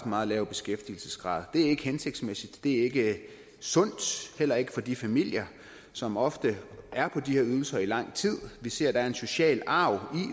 meget lav beskæftigelsesgrad det er ikke hensigtsmæssigt det er ikke sundt heller ikke for de familier som ofte er på de her ydelser i lang tid vi ser at der er en social arv